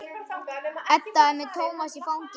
Edda er með Tómas í fanginu.